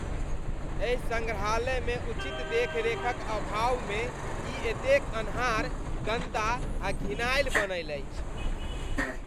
एहि सङ्ग्रहालय मे उचित देखरेखक अभाव मे ई एतेक अन्हार ,गन्दा आ घिनायल बनल अछि